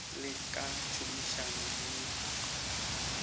le ka tšhomišano le mekgatlo